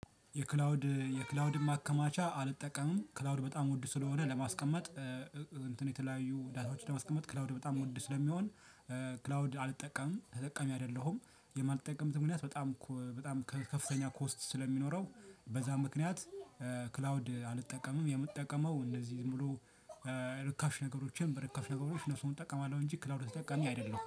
የክላውድ መካማቻ አልጠቀምም ክላውድ በጣም ወድ ስለሆነ ለማስቀመጥ እንትን የተለያዩ ዳታዎች ለመስቀመጥ ክላውድ በጣም ወድ ስለሚሆን ክላውድ አልጠቀምም ተጠቃሚ አይደለሁም። የማልጠቀምት ምክንያት በጣም ከፍተኛ ኮስት ስለሚኖረው በዛ ምክንያት ክላውድ አልጠቀምም የምጠቀመው እነዚህ ሙሉ ርካሽ ነገሮች በርካሽ ነገሮች እነሱን እጠቀማለሁ። እንጂ ክላውድ ተጠቃሚ አይደለሁም